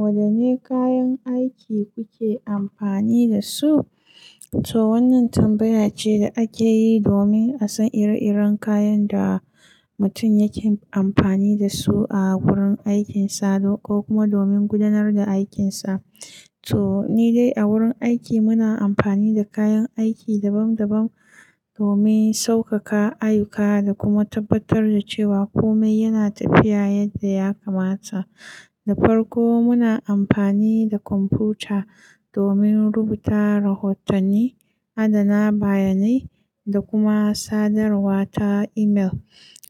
Wadanne kayan aiki kuke amfani da su? To wannan tambaya ce da ake yi domin a san ire-iren kayan da mutum yake amfani da su a wurin aikinsa ko kuma domin gudanar da aikinsa. To ni dai a wurin aiki muna amfani da kayan aiki dabam dabam domin saukaka ayyuka da kuma tabbatar da cewa kome yana tafiya yadda ya kamata. Da farko muna amfani da kwamfuta domin rubuta rahotanni, adana bayanai, da kuma sadarwa ta imel.